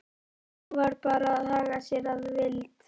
Nú var bara að haga sér að vild.